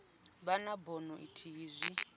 vha na bono ithihi zwi